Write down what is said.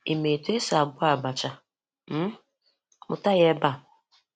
Ị́ ma etu esi agwọ abàchà? um Mụ́tà ya ebe a.